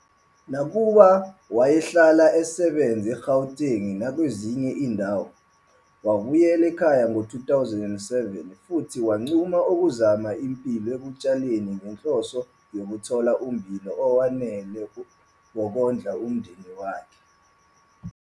Nakuba wayehlala esebenza eGauteng nakwezinye izindawo, wabuyela ekhaya ngo-2007 futhi wanquma ukuzama impilo ekutshaleni ngenhloso yokuthola ummbila owanele wokondla umndeni wakhe.